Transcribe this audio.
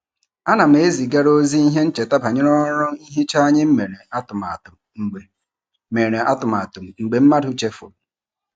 Ana m ezigara ozi ihe ncheta banyere ọrụ nhicha anyị mere atụmatụ mgbe mere atụmatụ mgbe mmadụ chefuru.